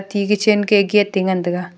te kitchen gate aa ngan taiga.